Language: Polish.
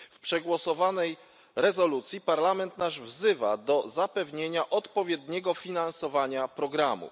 W przegłosowanej rezolucji Parlament wzywa do zapewnienia odpowiedniego finansowania programu.